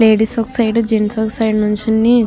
Ladies ఒక side gents ఒక side నుంచుని.